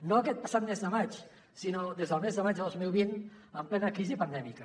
no aquest passat mes de maig sinó des del mes de maig de dos mil vint en plena crisi pandèmica